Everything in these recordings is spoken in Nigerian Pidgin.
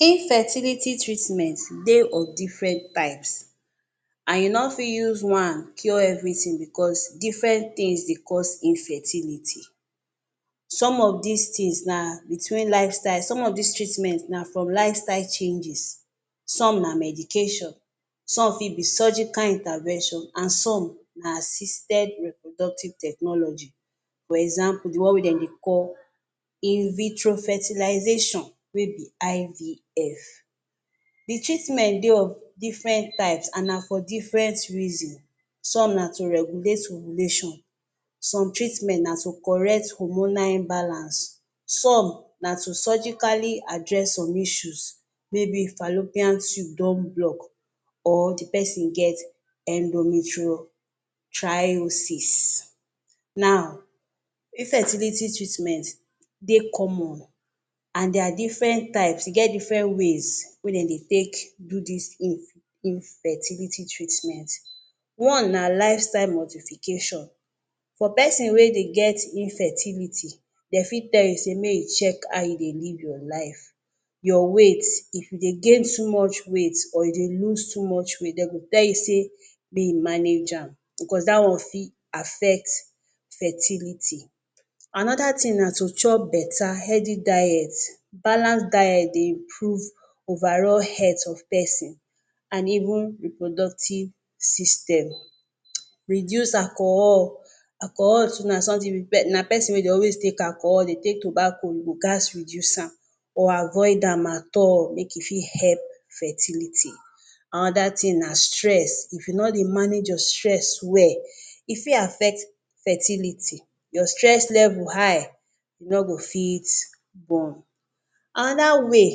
Infertility treatment dey of diffren type, I no fit use one cure evritin bicos diffren tins dey cause Infertility. Some of dis tins na, between life styles, some of dis treatment na from lifestyle changes, some na medication, some fit be surgical intervention, and some na system reproductive technology for example the one wey den dey call Invitrofertilization wey be IVF, di treatment dey of diffren types and na for diffrent reason some na to regulate ovulation, some treatment na to correct hormonal imbalance, some na to surgically address some issues may be fallopian tube don block or di pesin get endometrio tryosis. Now, infertility treatment dey common and there are diffren types e get diffren ways wey dem dey take do dis in infertility treatment. One na life style modification. For pesin wey dey get infertility, dem fit tell you say make you check how you dey live your life, your weight if you dey gain too much weight or you dey lose too much weight, dem go tell you say may you manage am. Bicos dat one fit affect fertility. Anoda tin na to chop betta healthy diet. Balance diet dey improve overall health of pesin and even reproductive system. Reduce alcohol. Alcohol too na sometin na pesin wey dey always take alcohol dey take tobacco you go gaz Reduce am or avoid am at all make e fit help fertility. Anoda tin na stress. If you no dey manage your stress well, e fit affect fertility your stress level high you no go fit born. Anoda way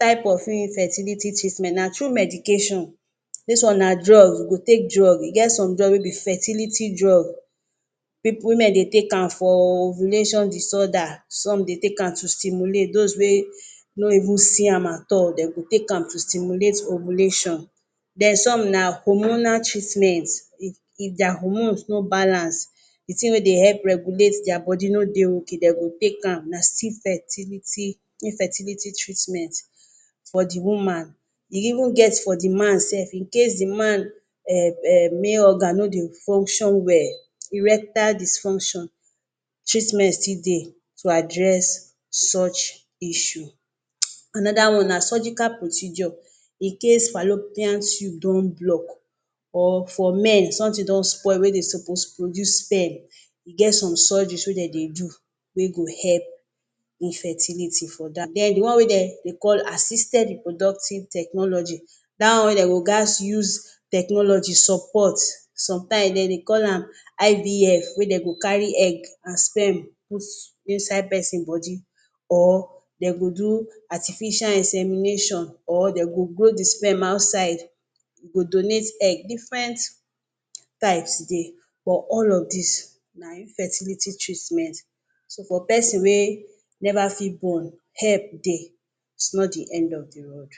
type of infertility treatment na through medication. Dis one na drugs you go take drugs, e get some drugs wey be fertility drugs women dey take am for ovulation disorder, some dey take am to stimulate dos wey no even see am at all dem go take am to stimulate ovulation. Den some na hormonal treatment, if if dia hormones no balance di tin wey dey help regulate dia body no dey ok dey go take am na still fertility infertility treatment for di woman. E even get for di man sef, in case di man um um male organ no dey function well, erectile dysfunction treatment still dey to address such issue. Anoda one na surgical procedure. In case fallopian tube don block or for men somtin don spoil wey suppose dey produce sperm e get some surgeries wey dem dey do wey go help infertility for dem. Den di one wey dem dey call Assisted reproductive technology dat one wey dem go gatz use technology support somtimes dem dey call am IVF wey dey go carry egg and sperm put inside pesin body or dem go do artificial insemination or dem go go di sperm outside, you go donate egg, diffrent types dey but all of dis na infertility treatment so for pesin wey never fit born help dey is not di end of di road.